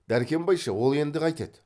дәркембай ше ол енді қайтеді